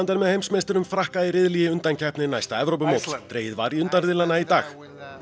með heimsmeisturum Frakka í riðli í undankeppni næsta Evrópumóts dregið var í í dag